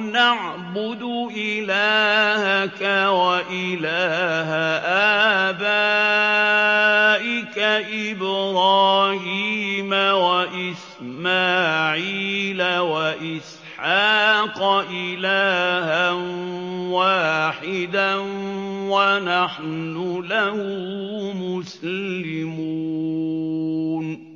نَعْبُدُ إِلَٰهَكَ وَإِلَٰهَ آبَائِكَ إِبْرَاهِيمَ وَإِسْمَاعِيلَ وَإِسْحَاقَ إِلَٰهًا وَاحِدًا وَنَحْنُ لَهُ مُسْلِمُونَ